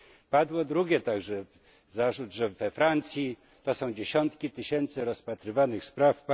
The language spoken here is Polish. Padł także drugi zarzut, że we Francji to są dziesiątki tysięcy rozpatrywanych spraw.